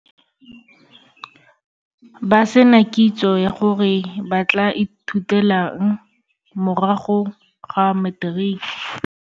Ba se na kitso ya gore ba tla ithutela eng morago ga materiki.